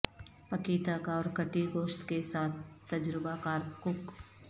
پکی تک اور کٹی گوشت کے ساتھ تجربہ کار کک